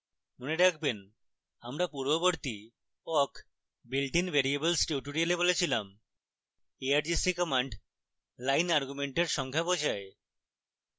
মনে রাখবেন আমরা পূর্ববর্তী awk builtin variables tutorial বলেছিলামargc কমান্ড লাইন আর্গুমেমেন্টের সংখ্যা বোঝায়